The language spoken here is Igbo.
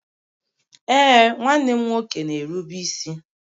Ee, nwanne m nwoke na-erube isi